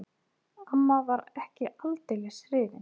Amma var ekki aldeilis hrifin.